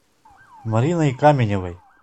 мариной каменевой